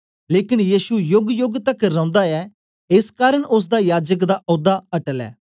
लेकन यीशु योगयोग तकर रौंदा ऐ एस कारन ओसदा याजक दा औदा अटल ऐ